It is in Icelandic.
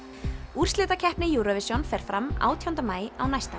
úrslitakeppni Eurovision fer fram átjánda maí á næsta